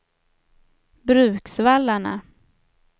Bruksvallarna